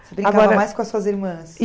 brincava mais com as suas irmãs?